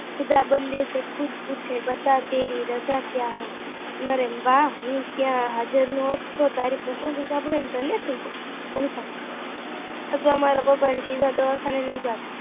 ખુદા બન્દે સે ખુદ પૂછે બતા તેરી રજા કયા હૈ નરેન અરે વાહ હું ત્યાં હાજર નો હોત તો તારી તો ત્યાં શબ્દો સાંભળીને ધન્ય થાય જાત અથવા મારા પપ્પા ને સીધા દવાખાને લઈ જાત